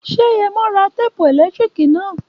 Ṣé Yẹmo ra téèpù ẹ̀lẹ́tíríkì na?